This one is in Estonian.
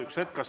Üks hetk!